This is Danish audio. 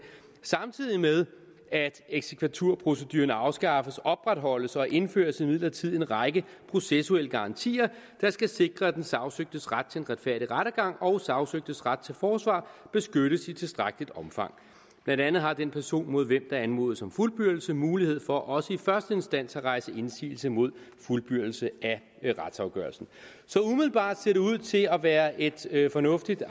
samtidig med at eksekvaturproceduren afskaffes opretholdes og indføres imidlertid en række processuelle garantier der skal sikre at den sagsøgtes ret til en retfærdig rettergang og sagsøgtes ret til forsvar beskyttes i tilstrækkeligt omfang blandt andet har den person mod hvem der anmodes om fuldbyrdelse mulighed for også i første instans at rejse indsigelse mod fuldbyrdelse af retsafgørelsen umiddelbart ser det ud til at være et et fornuftigt